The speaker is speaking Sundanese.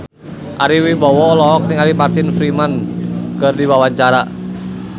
Ari Wibowo olohok ningali Martin Freeman keur diwawancara